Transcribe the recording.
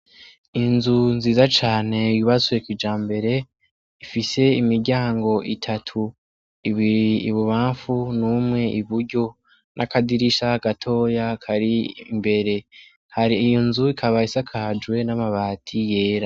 Inzu nziza cane yubatswe kijambere ifise imiryango itatu ibiri ibubamfu umwe iburyo n' akadirisha gatoya kari imbere hari nzu ikaba isakajwe n' amabati yera.